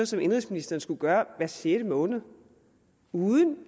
som indenrigsministeren skulle gøre hver sjette måned uden